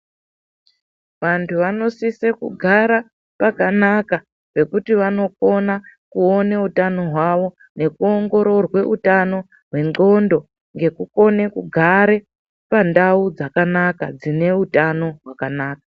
Vantu vanosise kugara pakanaka ,zvekuti vanokona kuone utano hwavo, nekuongororwe utano hwendxondo, ngekukone kugare pandau dzakanaka, dzine utano hwakanaka.